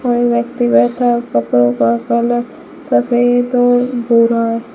ओ व्यक्ति बैठा है कपड़ों का कलर सफेद और भूरा--